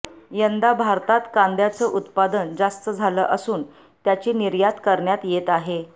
यंदा भारतात कांद्याचं उत्पादन जास्त झालं असून त्याची निर्यात करण्यात येत आहे